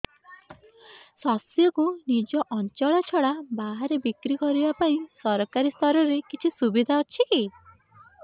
ଶସ୍ୟକୁ ନିଜ ଅଞ୍ଚଳ ଛଡା ବାହାରେ ବିକ୍ରି କରିବା ପାଇଁ ସରକାରୀ ସ୍ତରରେ କିଛି ସୁବିଧା ଅଛି କି